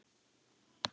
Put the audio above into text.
Í Mömmu klikk!